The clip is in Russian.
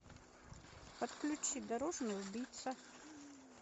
подключи дорожный убийца